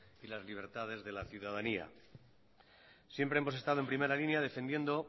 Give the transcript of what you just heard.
y las libertades de la ciudadanía siempre hemos estado en primera línea defendiendo